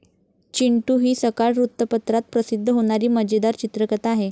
चिंटू हि सकाळ वृत्तपत्रात प्रसिद्ध होणारी मजेदार चित्रकथा आहे.